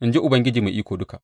In ji Ubangiji Mai Iko Duka.’